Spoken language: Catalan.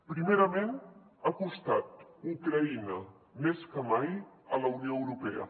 primerament ha acostat ucraïna més que mai a la unió europea